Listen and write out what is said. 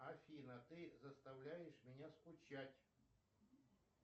афина ты заставляешь меня скучать